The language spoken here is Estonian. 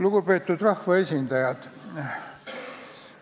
Lugupeetud rahvaesindajad!